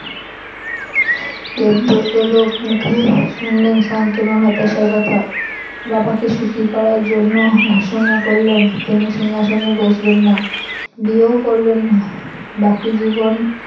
দেবব্রত লোকমুখে শুনলেন শান্তনুর হতাশার কথা বাবাকে সুখী করার জন্য ঘোষনা করলেন তিনি সিংহাসনে বসবেন না বিয়েও করবেন না বাকি জীবন।